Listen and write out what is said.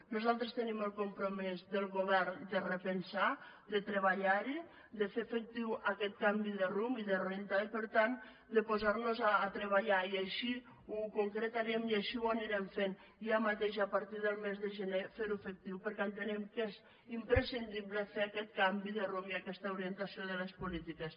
nosaltres tenim el compromís del govern de repensar de treballar hi de fer efectiu aquest canvi de rumb i de reorientar i per tant de posar nos a treballar i així ho concretarem i així ho anirem fent ja mateix a partir del mes de gener fer ho efectiu perquè entenem que és imprescindible fer aquest canvi de rumb i aquesta orientació de les polítiques